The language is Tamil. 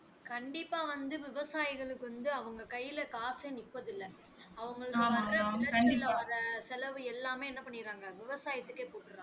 கண்டிப்பா வந்து விவசாயிகளுக்கு வந்து அவங்க கையில் காசே நிப்பது இல்லை அவங்கள செலவு எல்லாமே என்ன பண்ணிடறாங்க விவசாயத்துக்கே போட்டுடறாங்க